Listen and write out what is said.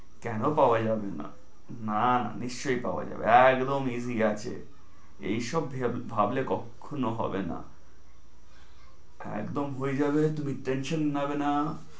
কেনো পাওয়া যাবে না? না না নিশ্চয়ই পাওয়া যাবে, একদম easy আছে। এইসব ভেব~ ভাবলে কখ~খনো হবে না। একদম হয়ে যাবে, তুমি tension নিবে না।